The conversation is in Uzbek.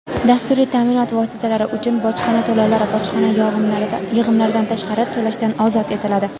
dasturiy ta’minot vositalari uchun bojxona to‘lovlari (bojxona yig‘imlaridan tashqari) to‘lashdan ozod etiladi;.